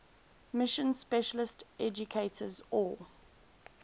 mission specialist educators or